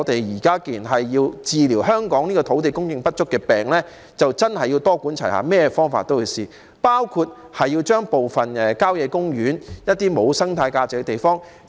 現在，要治療香港土地供應不足的病，的確要多管齊下，甚麼方法都要嘗試，包括利用部分郊野公園內一些沒有生態價值的地方。